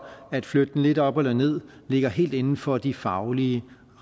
at flytte den lidt op eller ned ligger helt inden for de faglige